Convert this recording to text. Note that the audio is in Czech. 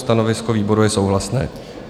Stanovisko výboru je souhlasné.